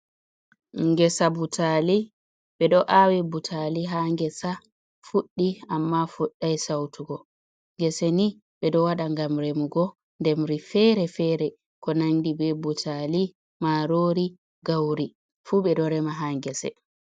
Ngesa butaali ɓe ɗo aawi butaali haa ngesa fuɗi amma fuɗɗai sawtugo, ngese ni be ɗo waɗa ngam remugo ndemri feere-feere ko nanndi bee butaali, maaroori, gawri fuu be ɗo rema haa ngese.